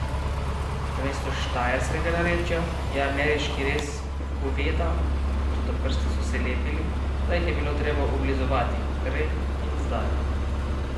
Namesto štajerskega narečja je ameriški rez goveda, toda prsti so se lepili, da jih je bilo treba oblizovati, prej in zdaj.